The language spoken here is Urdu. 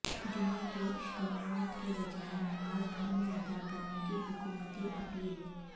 جمعے کے اجتماعات کے بجائے نماز گھر میں ادا کرنے کی حکومتی اپیل